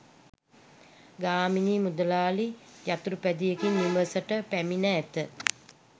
ගාමිණී මුදලාලි යතුරුපැදියකින් නිවසට පැමිණ ඇත